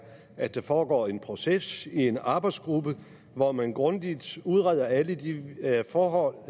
at der foregår en proces i en arbejdsgruppe hvor man grundigt udreder alle de forhold